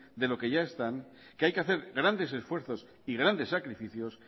de lo que ya están que hay que hacer grandes esfuerzos y grandes sacrificios